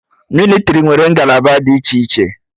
Mịlịtrị nwere ngalaba dị iche iche